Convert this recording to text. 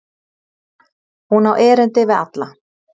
Hún á erindi við alla.